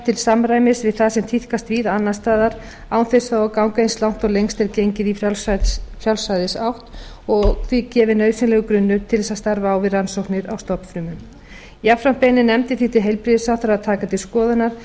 til samræmis við það sem tíðkast víða annars staðar án þess þó að ganga eins langt og lengst er gengið í frjálsræðisátt og því gefinn nauðsynlegur grunnur til að starfa á við rannsóknir á stofnfrumum jafnframt beinir nefndin því til heilbrigðisráðherra að taka til skoðunar